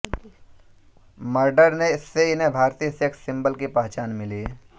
murder से इन्हें भारतीय सेक्स सिंबल की पहचान मिली